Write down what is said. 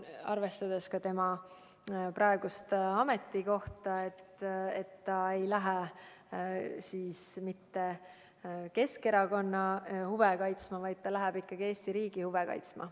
Arvestades ka tema praegust ametikohta, ma arvan, et ta ei lähe mitte Keskerakonna huve kaitsma, vaid ta läheb ikkagi Eesti riigi huve kaitsma.